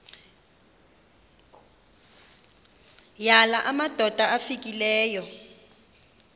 yala madoda amfikeleyo